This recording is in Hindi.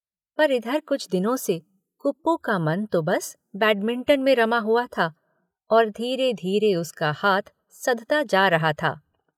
पर इधर कुछ दिनों से कुप्पू का मन तो बस बैडमिंटन में रमा हुआ था और धीरे-धीरे उसका हाथ सधता जा रहा था।